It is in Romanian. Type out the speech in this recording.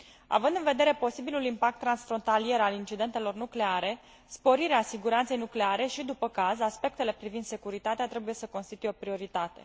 Având în vedere posibilul impact transfrontalier al incidentelor nucleare, sporirea siguranței nucleare și, după caz, aspectele privind securitatea trebuie să constituie o prioritate.